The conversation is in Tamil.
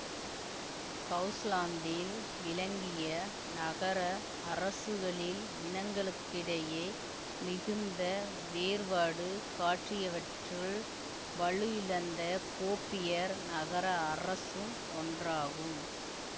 ஹவுசலாந்தில் விளங்கிய நகர அரசுகளில் இனங்களுக்கிடையே மிகுந்த வேறுபாடு காட்டியவற்றுள் வலுவிழந்த கோபியர் நகர அரசும் ஒன்றாகும்